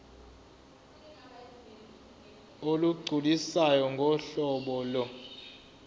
olugculisayo ngohlobo lo